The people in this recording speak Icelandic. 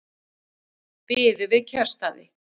Biðu við kjörstaði